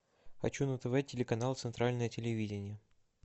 хочу на тв телеканал центральное телевидение